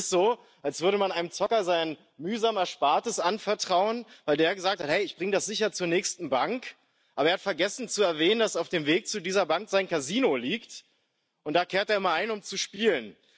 Das ist so, als würde man einem Zocker sein mühsam Erspartes anvertrauen, weil er gesagt hat, er bringe das sicher zur nächsten Bank, aber er hat vergessen zu erwähnen, dass auf dem Weg zu dieser Bank sein Casino liegt, und da kehrt er immer ein, um zu spielen.